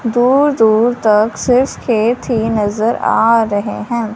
दूर दूर तक सिर्फ खेत ही नजर आ रहे है।